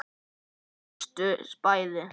Þau brostu bæði.